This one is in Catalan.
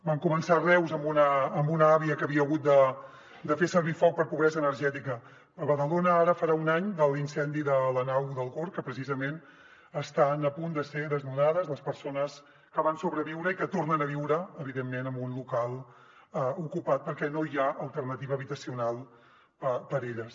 van començar a reus amb una àvia que havia hagut de fer servir foc per pobresa energètica a badalona ara farà un any de l’incendi de la nau del gorg que precisament estan a punt de ser desnonades les persones que van sobreviure i que tornen a viure evidentment en un local ocupat perquè no hi ha alternativa habitacional per a elles